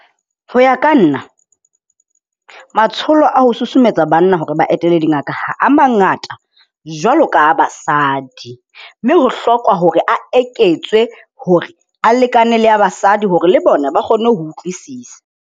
Ho ya ka nna matsholo a ho susumetsa banna hore ba etele dingaka ha a mangata jwalo ka a basadi, mme ho hlokwa hore a eketswe hore a lekane le a basadi hore le bona ba kgone ho utlwisisa.